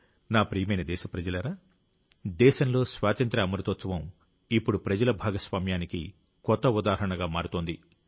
నా ప్రియమైన దేశప్రజలారా దేశంలో స్వాతంత్ర్య అమృతోత్సవం ఇప్పుడు ప్రజల భాగస్వామ్యానికి కొత్త ఉదాహరణగా మారుతోంది